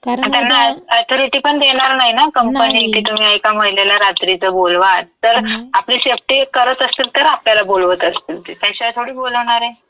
कारण उद्या. अन् त्यांना अॅथोरिटीपण देणार नाही ना कंपनी, की तुम्ही एक महिलेला रात्रीचं बोलवा. तर आपली सेफ्टी करत असतील तर आपल्या बोलवत असतील ते. त्याशिवाय थोड़ी बोलवणार ये. नाही.